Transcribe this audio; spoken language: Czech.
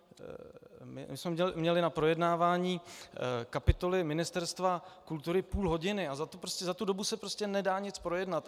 My jsme měli na projednávání kapitoly Ministerstva kultury půl hodiny a za tu dobu se prostě nedá nic projednat.